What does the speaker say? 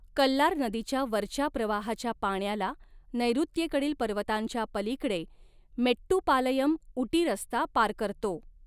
कल्लार नदीच्या वरच्या प्रवाहाच्या पाण्याला, नैऋत्येकडील पर्वतांच्या पलीकडे मेट्टुपालयम ऊटी रस्ता पार करतो.